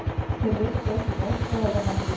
Þeir veittu ekki mótþróa við handtöku